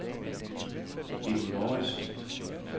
Bitten Mouritzen